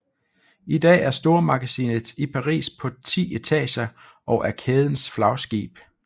I dag er stormagasinet i Paris på 10 etager og er kædens flagskib